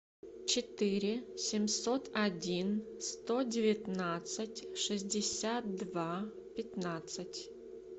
четыре семьсот один сто девятнадцать шестьдесят два пятнадцать